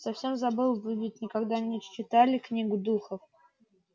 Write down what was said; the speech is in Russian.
совсем забыл вы ведь никогда не читали книгу духов